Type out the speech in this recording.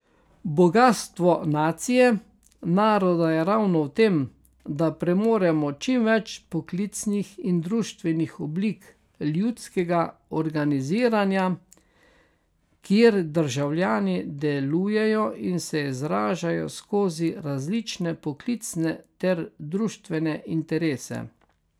Bogastvo nacije, naroda je ravno v tem, da premoremo čim več poklicnih in društvenih oblik ljudskega organiziranja, kjer državljani delujejo in se izražajo skozi različne poklicne ter društvene interese.